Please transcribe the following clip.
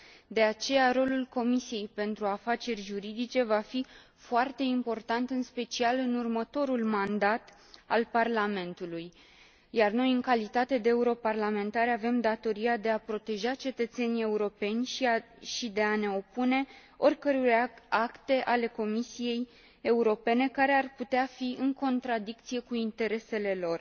De aceea, rolul Comisiei pentru afaceri juridice va fi foarte important, în special în următorul mandat al Parlamentului, iar noi, în calitate de europarlamentari avem datoria de a proteja cetățenii europeni și de a ne opune oricăror acte ale Comisiei Europene care ar putea fi în contradicție cu interesele lor.